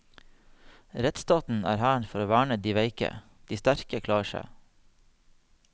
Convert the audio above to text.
Rettsstaten er for å verne dei veike, dei sterke klarer seg.